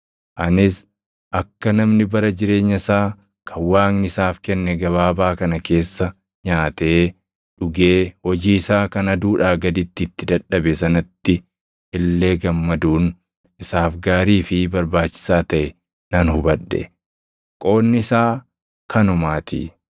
Anis akka namni bara jireenya isaa kan Waaqni isaaf kenne gabaabaa kana keessa nyaatee dhugee hojii isaa kan aduudhaa gaditti itti dadhabe sanatti illee gammaduun isaaf gaarii fi barbaachisaa taʼe nan hubadhe; qoodni isaa kanumaatii.